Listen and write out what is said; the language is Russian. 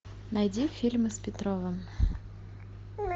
найди фильмы с петровым